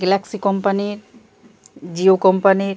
Galaxy কোম্পানির জিও কোম্পানির --